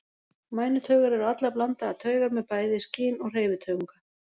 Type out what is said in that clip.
Mænutaugar eru allar blandaðar taugar með bæði skyn- og hreyfitaugunga.